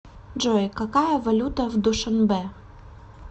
джой какая валюта в душанбе